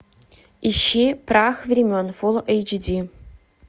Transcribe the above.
ищи прах времен фул эйч ди